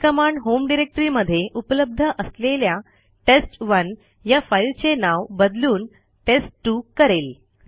ही command home directory मध्ये उपलब्ध असलेल्या टेस्ट1 या फाईलचे नाव बदलून टेस्ट2 करेल